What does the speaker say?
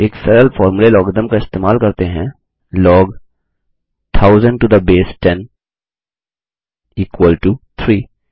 एक सरल फॉर्मूले लोगारिथम का इस्तेमाल करते हुए है log 1000 to the base 10 equal to 3